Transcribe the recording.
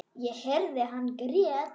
Ég heyrði að hann grét.